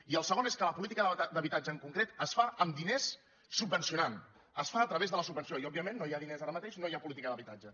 i el segon és que la política d’habitatge en concret es fa amb diners subvencionant es fa a través de la sub·venció i òbviament no hi ha diners ara mateix no hi ha política d’habitatge